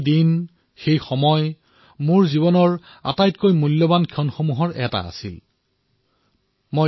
সেই দিনকেইটা মোৰ জীৱনৰ অমূল্য সময়সমূহৰ ভিতৰৰ অন্যতম একোটা সময়